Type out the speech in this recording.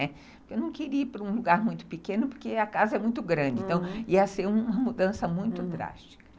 Eu não queria ir para um lugar muito pequeno, porque a casa é muito grande, então ia ser uma mudança muito drástica.